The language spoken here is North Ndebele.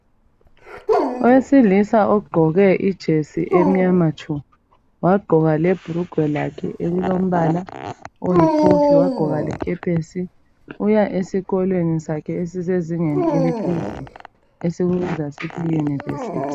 Owesilisa ogqoke ijesi emnyama tshu wagqoka lebhulugwe lakhe elilombala oyikofi wagqoka lekepesi uya zesikolweni sakhe esisezingeni eliphezulu esikubiza sisithi yiYunivesithi.